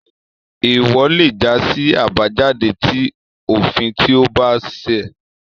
Eewọ lé já sí àbájáde ti òfin tí o ba ṣẹ